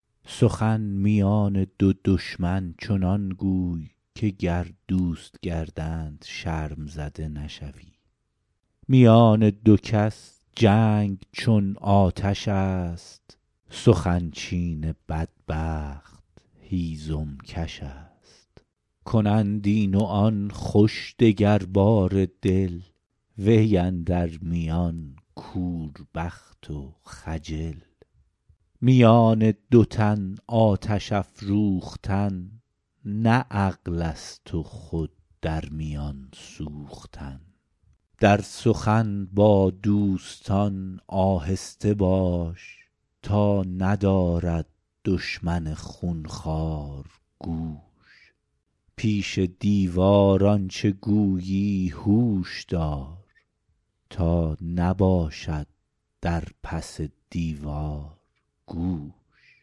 سخن میان دو دشمن چنان گوی که گر دوست گردند شرم زده نشوی میان دو کس جنگ چون آتش است سخن چین بدبخت هیزم کش است کنند این و آن خوش دگرباره دل وی اندر میان کوربخت و خجل میان دو تن آتش افروختن نه عقل است و خود در میان سوختن در سخن با دوستان آهسته باش تا ندارد دشمن خونخوار گوش پیش دیوار آنچه گویی هوش دار تا نباشد در پس دیوار گوش